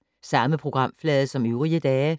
Samme programflade som øvrige dage